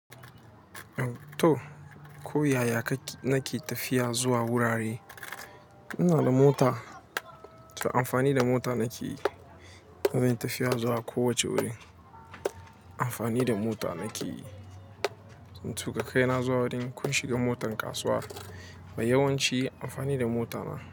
To, ko yaya kake nake tafiya zuwa wurare. Ina da mota, to amfani da mota nake yi. Zan yi tafiya zuwa kowace wuri. Amfani da mota nake yi. Zan tuƙa kai na zuwa wurin. Ko in shiga motar kasuwa, mai yawanci amfani da mota na.